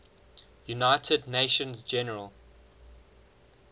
united nations general